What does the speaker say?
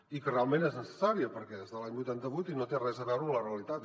i que realment és necessària perquè és de l’any vuitanta vuit i no té res a veure amb la realitat